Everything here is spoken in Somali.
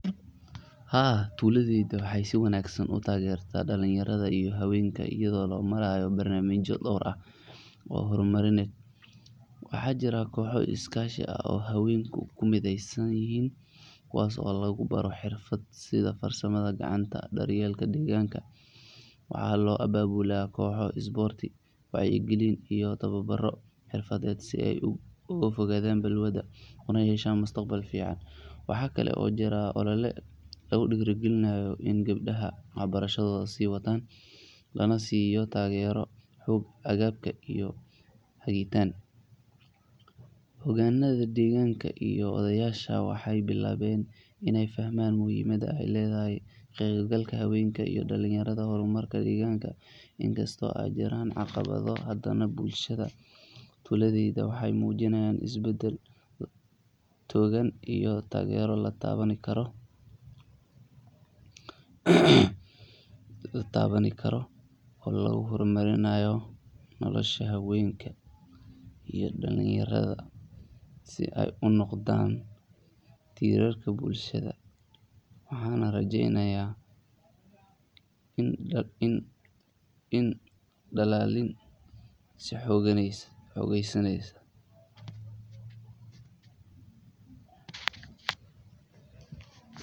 Haa tuuladeyda waxey si wanaagsan u taageerta dhalinyarada iyo haweenka iyadho barnamija lo hor marini waxa jira kooho iskaashi ah oo haweenku ku mideysayihin kuwaasi oo lagu baaro xirfad aidha farsamada gacanta daryeelka deeganka waaxa lo ababula kooho sprots waacyo giliin iyo taawa baro xirfaded sii ee u kugu fogaadan balwada kuna yesha mustaqbal fiican waaxa kale oo jira olole la kugu dirigilinayo ina gabdaha waxa barashadhoda sii waatan laana siiyo taagero xuug agaaga iyo hagiitan xogaananda deeganka iyo odeysha waaxy bilaawen iney fahmaan muhimad ee ay ledahaya iyo ka qebgalka hawenka iyo dhalinyaradah xormarka iyo deganka in kasto ee jiraan caqawada bulashada tuuladeyda waxey mujiinaya is baadal toogan iyo tageero la daawani kari oo lagu hor marinayo nolosha haweenka iyo dhalinyarada sii ee unoqodan tirarka bulshada waaxan rajeynaya in dalalin si hogeysanyso